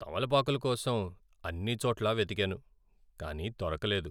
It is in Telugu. తమలపాకుల కోసం అన్ని చోట్లా వెతికాను కానీ దొరకలేదు.